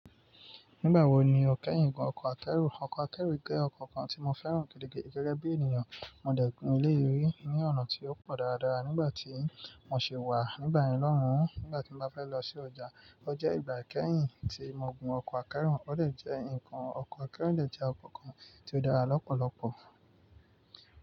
Nígbàwò ní o kẹ́yìn gùn ọkọ̀ akẹ́rù? Ọkọ̀ akẹ́rù jẹ́ ọkọ̀ kan tí mo fẹ́ràn gẹ́gẹ́ bí ènìyàn. Mo dẹ̀ gùn eléyi rí ní ọ̀nà tí ó pọ̀ dáradára nígbà tí mo ṣe wà nígbà yen lohun. Nígbà tí n bá fẹ́ lọ sí ọjà, o jẹ́ ìgbà kẹ́yìn tí mo gùn ọkọ̀ akẹ́rù. Ó dẹ̀ jẹ́ ǹkan ọkọ̀ akẹ́rù de jẹ́ ọkọ̀ kan tí ó dára lọ́pọ̀lọ̀pọ̀.